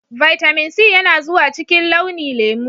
Vitamin C yana zuwa cikin launi lemu.